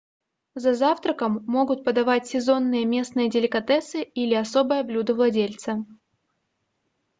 за завтраком могут подавать сезонные местные деликатесы или особое блюдо владельца